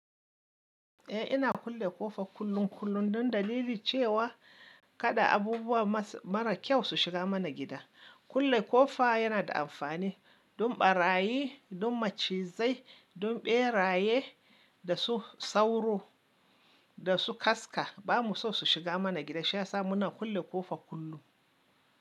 Eh ina kulle ƙofa kullun kullun don dalili cewa kada abubuwa mara kyau su shiga mana gida. Kulle ƙofa yana da amfani don ɓarayi, don macizai, don ɓeraye da su sauro da su kaska ba mu so su shiga mana gida shiyasa muna kulle ƙofa kullun.